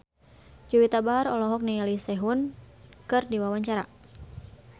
Juwita Bahar olohok ningali Sehun keur diwawancara